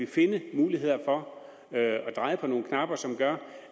finde muligheder for at dreje på nogle knapper som gør